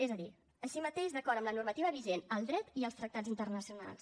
és a dir així mateix d’acord amb la normativa vigent el dret i els tractats internacionals